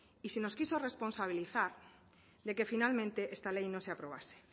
y se nos quiso responsabilizar de que finalmente esta ley no se aprobase